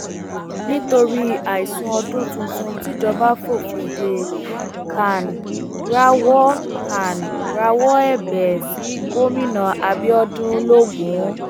nítorí àìsùn ọdún tuntun tíjọba fòfin dé can rawọ can rawọ ẹbẹ sí gómìnà abiodun logun